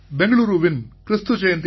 பெங்களூரூவின் Kristu Jayanthi